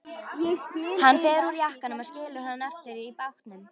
Hann fer úr jakkanum og skilur hann eftir í bátnum.